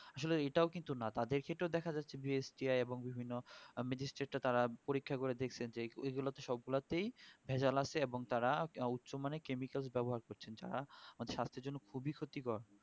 আসলে এটাও কিন্তু না তাদের কে তো দেখাযাচ্ছে যে STI এবং বিভিন্ন magistrate এ তারা পরীক্ষা করে দেখছেন যে এইগুলোতে সবগুলাতেই ভেজাল আছে এবং তারা উচ্চ মানের chemical ব্যবহার করছেন যারা সাস্থের জন্য খুবই ক্ষতিকর